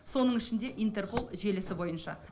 соның ішінде интерпол желісі бойынша